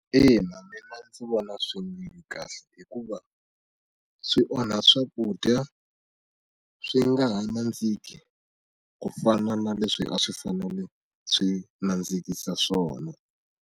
Ina, mina ndzi vona swi ri kahle hikuva swi onha swakudya swi nga ha nandziki ku fana na leswi a swi fanele swi nandzikisa swona.